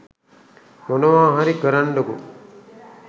මොනවා හරි කරන්ඩකො